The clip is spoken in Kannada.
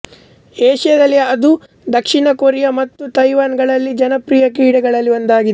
ಏಷ್ಯಾದಲ್ಲಿ ಅದು ದಕ್ಷಿಣ ಕೊರಿಯಾ ಮತ್ತು ತೈವಾನ್ ಗಳಲ್ಲಿ ಜನಪ್ರಿಯ ಕ್ರೀಡೆಗಳಲ್ಲಿ ಒಂದಾಗಿದೆ